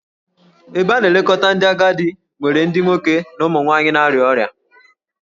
Ebe a na-elekọta ndị agadi nwere ndị nwoke na ụmụ nwanyị na-arịa ọrịa